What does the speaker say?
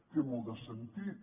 té molt de sentit